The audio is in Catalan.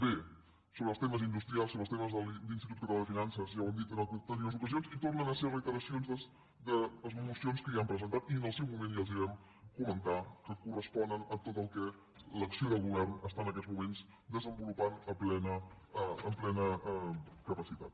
bé sobre els temes industrials sobre els temes de l’institut català de finances ja ho hem dit en anteriors ocasions i tornen a ser reiteracions de mocions que ja han presentat i en el seu moment ja els vam comentar que corresponen a tot el que l’acció de govern està en aquests moments desenvolupant amb plena capacitat